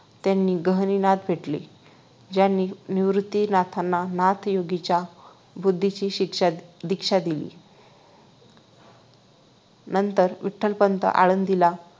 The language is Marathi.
त्यांना गहनीनाथ भेटले ज्यांनी निवृत्तीनाथांना नाथ योगींच्या बुद्धीची शिक्षा दीक्षा दिली नंतर विठ्ठलपंत आळंदीला